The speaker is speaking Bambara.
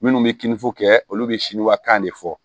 Minnu bɛ kininfo kɛ olu bɛ siwakan de fɔ